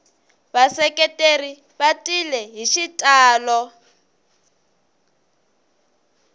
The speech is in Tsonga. vaseketeri va tile hi xitalo